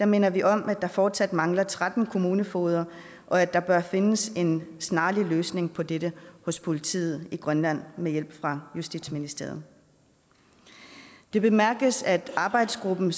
minder vi om at der fortsat mangler tretten kommunefogeder og at der bør findes en snarlig løsning på dette hos politiet i grønland med hjælp fra justitsministeriet det bemærkes at arbejdsgruppen